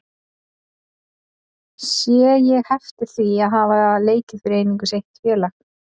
Sé ég heftir því að hafa leikið fyrir einungis eitt félag?